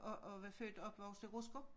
Og og var født og opvokset Rutsker